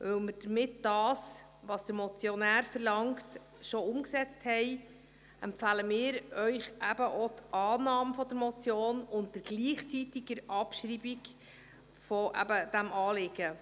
Weil wir damit das, was der Motionär verlangt, schon umgesetzt haben, empfehlen wir Ihnen Annahme der Motion bei gleichzeitiger Abschreibung dieses Anliegens.